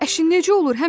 Əşi, necə olur?